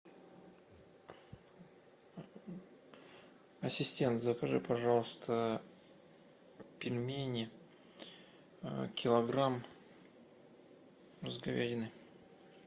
ассистент закажи пожалуйста пельмени килограмм с говядиной